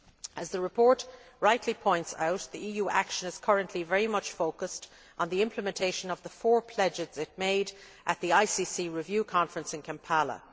As the report rightly points out, EU action is currently very much focussed on the implementation of the four pledges it made at the ICC review conference in Kampala.